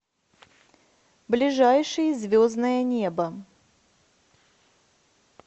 ближайший звездное небо